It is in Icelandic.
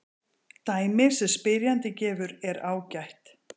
Dæmið sem spyrjandinn gefur er ágætt.